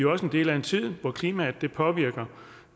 også en del af en tid hvor klimaændringer påvirker